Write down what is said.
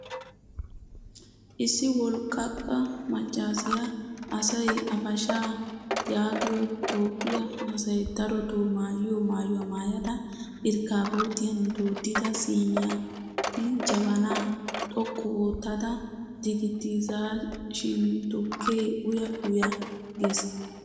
Issi walqqaqa maccaasiya asay abashaa yaagiyo toophphiya asay darotoo maayiyo maayuwaa maayada irkkabootiyan dooddida siniyan jabanaa xoqqu ottada digitization tukkee uya uya gees.